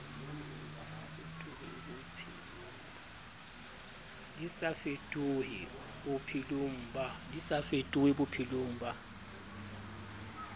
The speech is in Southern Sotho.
di sa fetohe bophelong ba